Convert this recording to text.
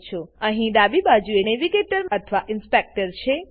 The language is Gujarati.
અહીં ડાબી બાજુએ નેવીગેટર અથવા ઇન્સપેક્ટર છે